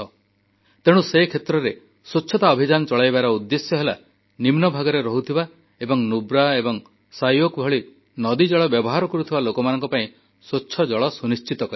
ତେଣୁ ସେ କ୍ଷେତ୍ରରେ ସ୍ୱଚ୍ଛତା ଅଭିଯାନ ଚଳାଇବାର ଉଦ୍ଦେଶ୍ୟ ହେଲା ନିମ୍ନଭାଗରେ ରହୁଥିବା ଏବଂ ନୁବ୍ରା ଏବଂ ଶ୍ୟୋକ ଭଳି ନଦୀଜଳ ବ୍ୟବହାର କରୁଥିବା ଲୋକମାନଙ୍କ ପାଇଁ ସ୍ୱଚ୍ଛ ଜଳ ସୁନିଶ୍ଚିତ କରିବା